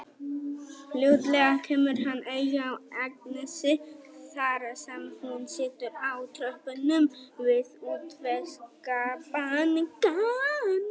Fljótlega kemur hann auga á Agnesi þar sem hún situr á tröppunum við Útvegsbankann.